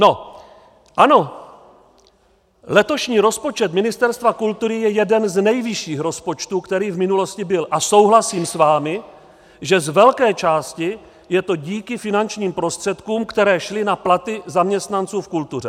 No ano, letošní rozpočet Ministerstva kultury je jeden z nejvyšších rozpočtů, který v minulosti byl, a souhlasím s vámi, že z velké části je to díky finančním prostředkům, které šly na platy zaměstnanců v kultuře.